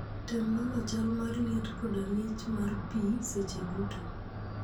Tem nono chal mar liet koda ng'ich mar pi seche duto.